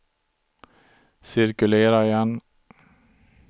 cirkulera igen